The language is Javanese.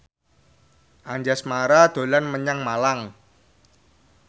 Anjasmara dolan menyang Malang